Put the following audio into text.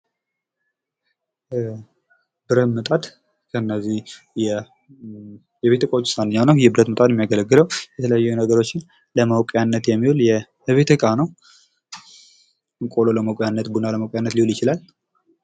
ብረት ምጣድ እነዚህ የቤት እቃወች ውስጥ አንደኛው ነው የብረት ምጣድ የሚያገለግለው የተለያዩ ነገሮችን ለመቁላት የሚውል የቤተ ዕቃ ነው ቆሎ ለመቁያነት ቡና ለመቁያነት ሊሆን ይችላል።